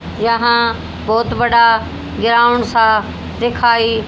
यहां बहोत बड़ा ग्राउंड सा दिखाई--